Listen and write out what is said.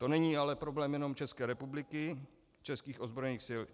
To není ale problém jenom České republiky, českých ozbrojených sil.